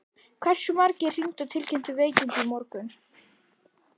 Hversu margir hringdu og tilkynntu veikindi í morgun?